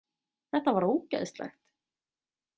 Þetta var ógeðslegt!